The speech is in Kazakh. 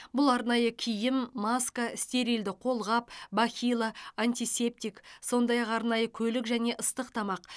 бұл арнайы киім маска стерильді қолғап бахила антисептик сондай ақ арнайы көлік және ыстық тамақ